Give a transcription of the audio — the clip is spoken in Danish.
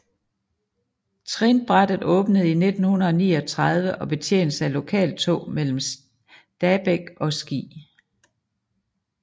Trinbrættet åbnede i 1939 og betjenes af lokaltog mellem Stabekk og Ski